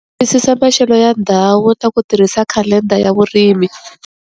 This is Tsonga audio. Twisisa maxelo ya ndhawu na ku tirhisa khalenda ya vurimi.